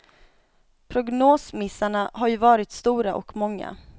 Prognosmissarna har ju varit stora och många.